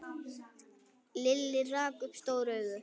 Lilli rak upp stór augu.